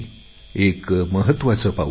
एक महत्त्वाचे पाऊल आहे